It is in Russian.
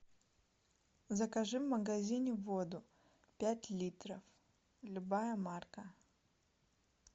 закажи в магазине воду пять литров любая марка